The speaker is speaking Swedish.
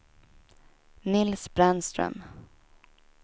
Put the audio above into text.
Nils Brännström